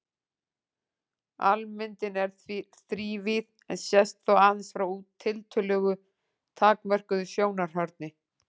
Almyndin er þrívíð en sést þó aðeins frá tiltölulega takmörkuðu sjónarhorni.